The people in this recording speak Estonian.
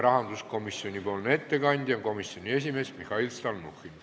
Rahanduskomisjoni nimel teeb ettekande komisjoni esimees Mihhail Stalnuhhin.